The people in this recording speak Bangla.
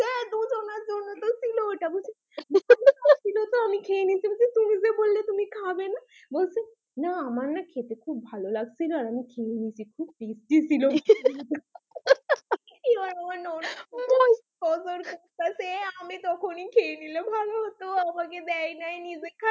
বলছে না আমার না খেতে খুব ভালো লাগছিলো আর আমি খেয়ে নিয়েছি খুব testy ছিল এবার আমার ননদ নজর আমি তখনই খেয়ে নিলে ভালো হতো আমাকে দেয় নাই নিজে খাই,